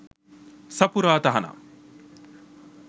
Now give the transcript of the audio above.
සපුරා තහනම්